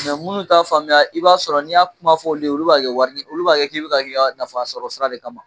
minnu t'a faamuya i b'a sɔrɔ n'i y'a kuma fɔ olu ye olu b'a kɛ wari olu b'a kɛ k'i bi k'a k'i ka nafasɔrɔ sira de kama.